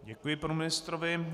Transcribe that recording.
Děkuji panu ministrovi.